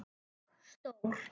Og stór.